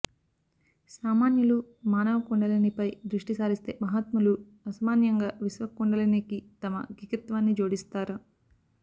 సామాన్యులు మానవ కుండలినిపై దృష్టి సారిస్తే మహాత్మలు అసామాన్యంగా విశ్వకుండలినికి తమ గికత్వాన్ని జోడిస్తార